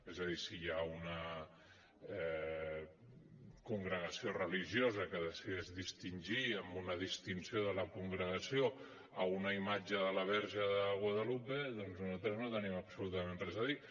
és a dir si hi ha una congregació religiosa que decideix distingir amb una distinció de la congregació una imatge de la verge de guadalupe doncs nosaltres no hi tenim absolutament res a dir